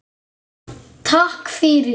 Takk fyrir